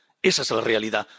Esa es la realidad